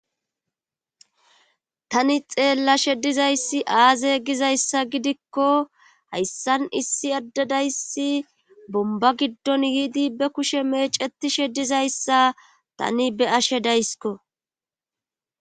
tani xeella shedizayssi aaze gizayssa gidikko hayssan issi addadayssi bomba giddon yiidi be kushe meeceti shedizayssa tani be ashe daysko